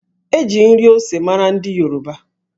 E ji nri ose mara ndị Yoruba